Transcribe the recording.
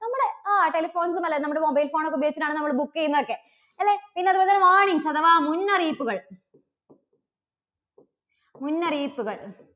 നമ്മുടെ അഹ് telephones പോലെ നമ്മുടെ mobile phone ഒക്കെ ഉപയോഗിച്ചിട്ടാണ് നമ്മള് book ചെയ്യുന്നതൊക്കെ അല്ലേ. പിന്നെ അതുപോലെതന്നെ warnings അഥവാ മുന്നറിയിപ്പുകൾ മുന്നറിയിപ്പുകൾ